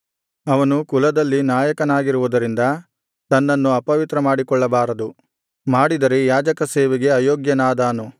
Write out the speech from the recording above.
ಅವನು ಕುಲದಲ್ಲಿ ನಾಯಕನಾಗಿರುವುದರಿಂದ ತನ್ನನ್ನು ಅಪವಿತ್ರ ಮಾಡಿಕೊಳ್ಳಬಾರದು ಮಾಡಿದರೆ ಯಾಜಕಸೇವೆಗೆ ಅಯೋಗ್ಯನಾದಾನು